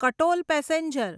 Katol passenger